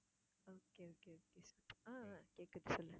okay okay okay ஆஹ் அஹ் கேட்குது சொல்லு